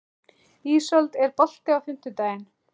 Ísold, er bolti á fimmtudaginn?